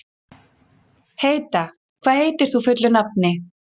Heida, hvað heitir þú fullu nafni?